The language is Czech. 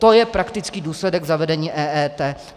To je praktický důsledek zavedení EET!